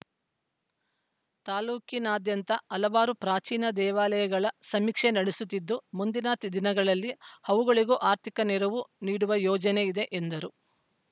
ತಾಲೂಕಿನಾದ್ಯಂತ ಹಲವಾರು ಪ್ರಾಚೀನ ದೇವಾಲಯಗಳ ಸಮೀಕ್ಷೆ ನಡೆಸುತ್ತಿದ್ದು ಮುಂದಿನ ತಿದಿನಗಳಲ್ಲಿ ಅವುಗಳಿಗೂ ಆರ್ಥಿಕ ನೆರವು ನೀಡುವ ಯೋಜನೆ ಇದೆ ಎಂದರು